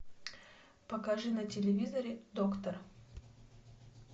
покажи на телевизоре доктор